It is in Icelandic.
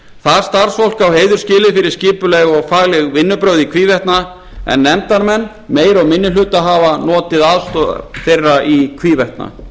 það starfsfólk á heiður skilið fyrir skipuleg og fagleg vinnubrögð í hvívetna en nefndarmenn meiri og minni hluta hafa notið aðstoðar þeirra í hvívetna